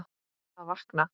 Að vakna.